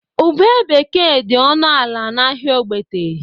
Ube bekee dị ọnụ ala n'ahịa Ogbete.